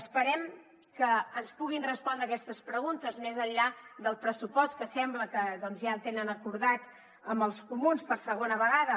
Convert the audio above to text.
esperem que ens puguin respondre aquestes preguntes més enllà del pressupost que sembla que ja el tenen acordat amb els comuns per segona vegada